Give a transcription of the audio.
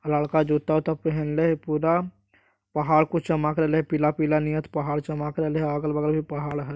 लड़का जूता उत्ता पहनले हेय पूरा पहाड़ कुछ चमक रहले पीला-पीला निहत पहाड़ चमक रहले हेय अगल-बगल भी पहाड़ हेय।